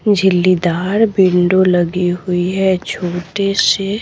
झिल्लीदार window लगी हुई है छोटे से--